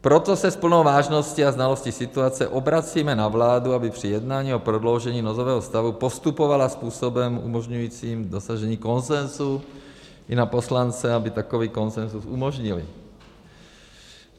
Proto se s plnou vážností a znalostí situace obracíme na vládu, aby při jednání o prodloužení nouzového stavu postupovala způsobem umožňujícím dosažení konsenzu, i na poslance, aby takový konsenzus umožnili.